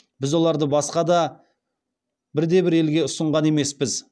біз оларды басқа бірде бір елге ұсынған емеспіз